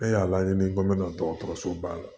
Ne y'a laɲini k'o dɔgɔtɔrɔso ba la